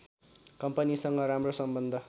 कम्पनीसँग राम्रो सम्बन्ध